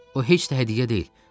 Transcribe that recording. O heç də hədiyyə deyil.